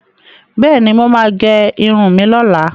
Bẹ́ẹ̀ni, mo máa gẹ irun mi lọ́la.